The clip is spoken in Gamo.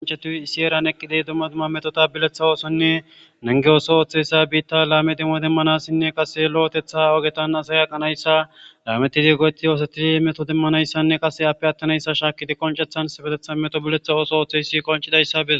oncetuw isi eeran eqqidi dumma dumma metota bileththa oosonne nange ooso ooththeyssa biitta laame dimmo demmanassinne qase lo7otetha ogetan asa yaqanayssa laametidi go7eti yoosetidi meto demmanayssanne qase appe attanayssa shaakidi qoncethan sifetetha meto biletha ooso ooththeyssi qoncidayssa bis